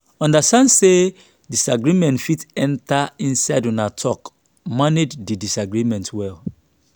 understand sey disagreement fit enter inside una talk manage di disagreement well